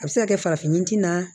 A bɛ se ka kɛ farafin ɲin